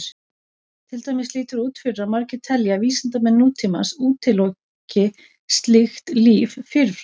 Til dæmis lítur út fyrir að margir telji að vísindamenn nútímans útiloki slíkt líf fyrirfram.